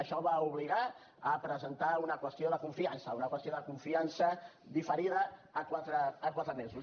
això va obligar a presentar una qüestió de confiança una qüestió de confiança diferida a quatre mesos